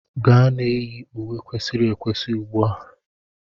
Gaa na-eyi uwe kwesịrị ekwesị ugbu a!